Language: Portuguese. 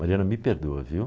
Mariana, me perdoa, viu?